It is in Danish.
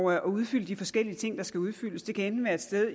at udfylde de forskellige ting der skal udfyldes det kan enten være et sted